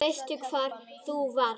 Veistu hvar þú varst?